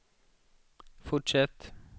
fortsätt